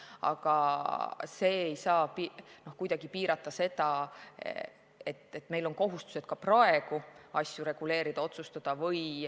Aga see ei saa kuidagi vähendada tõsiasja, et meil on kohustused ka praegu asju reguleerida ja otsustada.